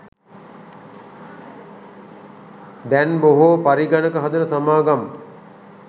දැන් බොහෝ පරිගණක හදන සමාගම්